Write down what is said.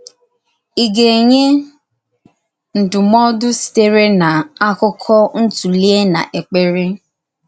Ị gà-ènýè ndúmòdù sitere n’ákụ́kọ̀ ntụ̀lìè n’èkpèrè?